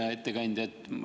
Hea ettekandja!